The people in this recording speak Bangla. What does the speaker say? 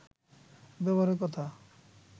ব্যবহারের কথা